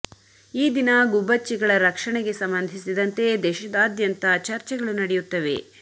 ಈ ದಿನ ಗುಬ್ಬಚ್ಚಿಗಳ ರಕ್ಷಣೆಗೆ ಸಂಬಂಧಿಸಿದಂತೆ ದೇಶದಾ ದ್ಯಂತ ಚರ್ಚೆಗಳು ನಡೆಯುತ್ತವೆ